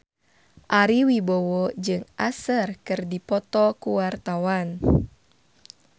Ari Wibowo jeung Usher keur dipoto ku wartawan